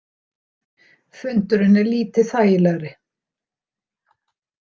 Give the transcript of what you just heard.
Fundurinn er lítið þægilegri.